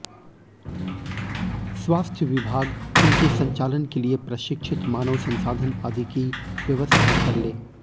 स्वास्थ्य विभाग इनके संचालन के लिए प्रशिक्षित मानव संसाधन आदि की व्यवस्था कर ले